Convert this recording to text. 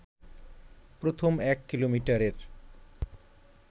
প্রথম এক কিলোমিটারের